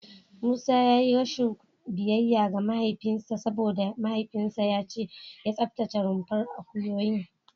Musa ya yi rashin biyayya ga mahaifinsa saboda mahaifinsa ya ce ya tsaftace rumfar akuyoyin.